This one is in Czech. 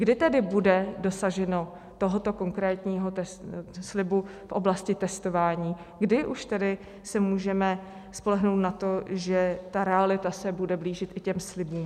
Kdy tedy bude dosaženo tohoto konkrétního slibu v oblasti testováním, kdy už tedy se můžeme spolehnout na to, že ta realita se bude blížit k těm slibům?